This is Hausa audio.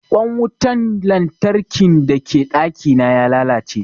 Ƙwan wutan lantarkin da ke ɗaki na ya lalace